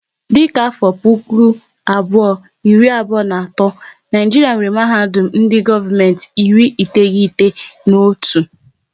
Dịka afọ puku abụọ iri abụọ na atọ, Naijiria nwéré mahadum ndị gọọmenti iri iteghete na otu